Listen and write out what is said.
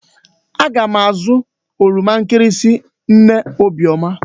Aga m azụ oroma nkịrịsị nne Obiọma.